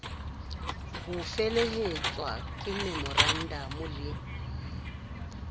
ho felehetswa ke memorandamo le